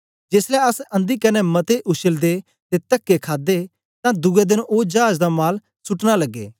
जेसलै अस अंधी कन्ने मते उश्लदे ते तके खादे तां दुए देन ओ चाज दा माल सुटना लगे